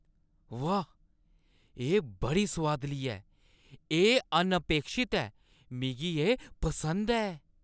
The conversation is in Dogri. वाह! एह् बड़ी सुआदली ऐ, एह् अनअपेक्षत ऐ। मिगी एह् पसंद ऐ।